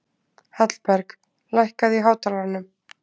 Hallberg, lækkaðu í hátalaranum.